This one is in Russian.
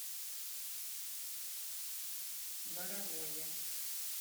боровое